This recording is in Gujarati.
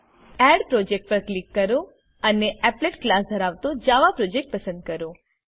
એડ પ્રોજેક્ટ પર ક્લિક કરો અને એપ્લેટ ક્લાસ ધરાવતો જાવા પ્રોજેક્ટ પસંદ કરો